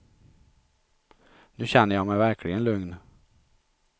Nu känner jag mig verkligen lugn.